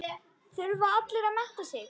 Þurfa allir að mennta sig?